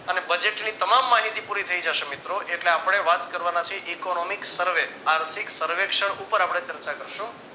અને budget તમામ માહિતી પુરી થઈ જશે મિત્રો એટલે આપણે વાત કરવાના છીએ economics સર્વ આર્થિક સર્વેક્ષણ ઉપર આપણે ચર્ચા કરશું